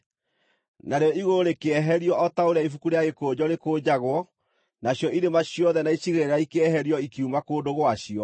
Narĩo igũrũ rĩkĩeherio o ta ũrĩa ibuku rĩa gĩkũnjo rĩkũnjagwo, nacio irĩma ciothe na icigĩrĩra ikĩeherio ikiuma kũndũ gwacio.